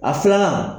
A filanan